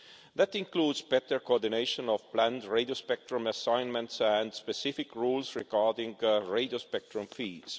That includes better coordination of planned radio spectrum assignments and specific rules regarding radio spectrum fees.